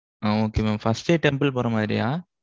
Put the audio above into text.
ஆ okay mam first ஏ temple போற மாதிரியா?